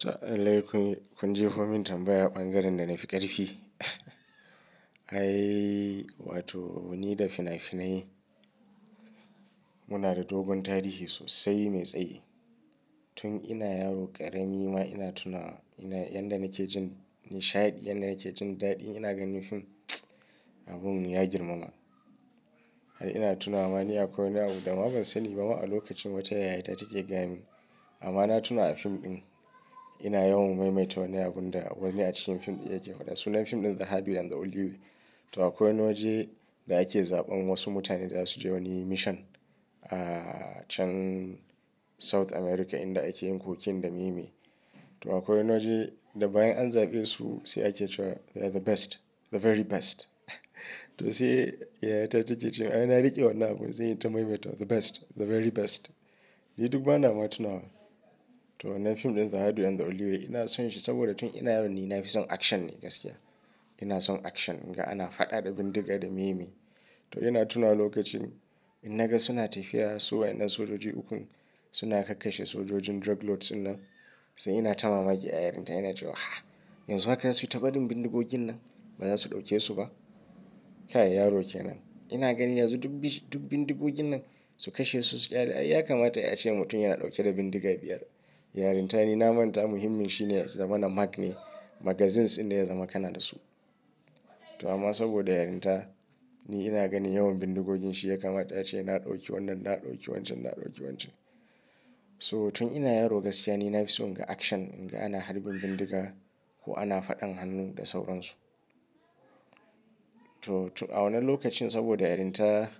To lalle, kun jefomin min tambaya ɓangaren da na fi ƙarfi. Ai, wato ni da fina-finai. Muna da dogon tarihi sosai mai tsayi. Tun ina yaro ƙarami ma ina tuna, yana yadda nake jin nishadi, yadda nake jin daɗi ina ganin fim. Abun ya girmama. Har ina tuna ma akwai wani abu dama ban sani ba ma a lokacin wace yayata take gayamin. Amma na tuna a fim ɗin ina yawan maimaita wani abun da wani a cikin fim ɗin yake faɗa. Sunan fim ɗin the Hardway and the only way. To akwai wani waje da ake zaɓan wasu mutane za su je wani mission a can South America inda ake yin kokin da meme. To akwai waje da bayan an zaɓe su sai ake cewa they are the best, the very best. To sai yayata take cewa ai na riƙe wannan abun sai in yi ta maimaita the best, the very best. Ni duk bana ma tuna. To wannan fim ɗin The Hardway and The onlyway ina son shi saboda tun ina yaro ni nafi son action ne gaskiya. Ina son action, in ga ana faɗa da bindiga da meyemeye. To ina tunawa lokacin inna ga suna tafiya su wayen nan sojoji ukun suna kakkashe sojojin drug lords dinnan. Sunan fim ɗin The Hardway and The only way. Yanzu haka za su yi ta barin bindigogin nan, ba za su ɗauke su ba. Kai yaro kenan. Ina ganin yanzu duk bis duk bindigogin nan su kashe su su ƙyale. Ai ya kamata ai ace mutum yana ɗauke da bindiga biyar. Yarinta ni na manta muhimmin shine zama na mag ne, magazines inda ya zama kana da su. Ina son action, in ga ana faɗa da bindiga da miye ne. So tun ina yaro gaskiya ni na fi so in ga action, in ga ana harbin bindiga ko ana faɗan hannu da sauransu. To to a wannan lokacin saboda yarinta